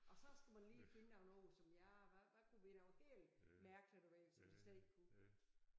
Og så skulle man lige finde på noget som jeg hvad hvad kunne være noget helt mærkeligt at vælge som de slet ikke kunne